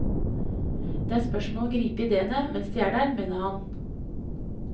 Det er spørsmål om å gripe idéene mens de er der, mener han.